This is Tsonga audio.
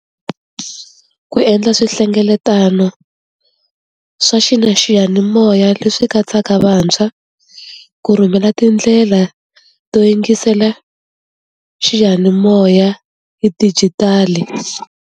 Ku endla swihlengeletano swa xiyanimoya leswi katsaka vantshwa ku rhumela tindlela to yingisela xiyanimoya hi dijitali.